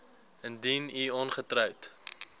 indien u ongetroud